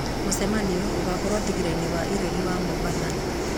Mũcemanio ũgekĩrwo thingira-inĩ wa iregi wa Mombatha